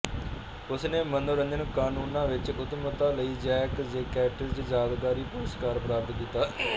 ਉਸ ਨੇ ਮਨੋਰੰਜਨ ਕਾਨੂੰਨਾਂ ਵਿੱਚ ਉੱਤਮਤਾ ਲਈ ਜੈਕ ਜੇ ਕੈਟਜ਼ ਯਾਦਗਾਰੀ ਪੁਰਸਕਾਰ ਪ੍ਰਾਪਤ ਕੀਤਾ